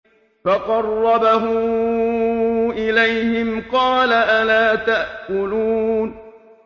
فَقَرَّبَهُ إِلَيْهِمْ قَالَ أَلَا تَأْكُلُونَ